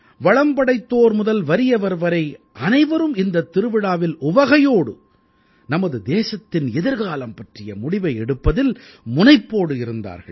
வளம் படைத்தோர் முதல் வறியவர் வரை அனைவரும் இந்தத் திருவிழாவில் உவகையோடு நமது தேசத்தின் எதிர்காலம் பற்றிய முடிவை எடுப்பதில் முனைப்போடு இருந்தார்கள்